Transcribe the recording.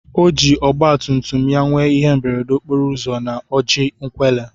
Oji ogba tumtum ya nwee ihe mberede okporo ụzọ na oji nkwelle.